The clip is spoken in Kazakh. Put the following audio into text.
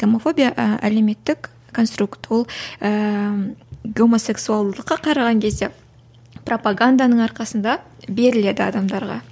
гомофобия і әлеуметтік конструкт ол ііі гомосексуалдыққа қараған кезде пропоганданың арқасында беріледі адамдарға